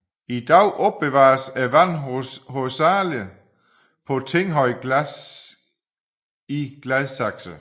I dag opbevares vandet hovedsagelig på Tinghøj i Gladsaxe